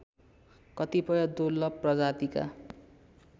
कतिपय दुर्लभ प्रजातिका